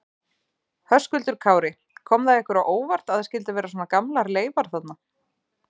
Höskuldur Kári: Kom það ykkur á óvart að það skyldu vera svona gamlar leifar þarna?